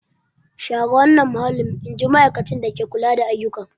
Share wannan mahallin! In ji ma'aikacin dake kula da ayyuka.